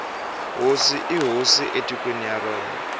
hosi i hosi etikweni ra yona